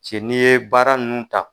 Cɛ ni ye baara nunnu ta.